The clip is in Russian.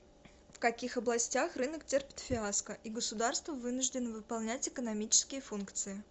в каких областях рынок терпит фиаско и государство вынуждено выполнять экономические функции